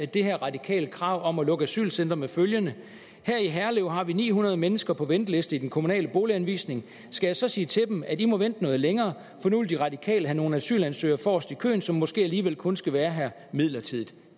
det her radikale krav om at lukke asylcentre med følgende her i herlev har vi ni hundrede mennesker på venteliste i den kommunale boliganvisning skal jeg så sige til dem at i må vente noget længere for nu vil de radikale have nogle asylansøgere forrest i køen som måske alligevel kun skal være her midlertidigt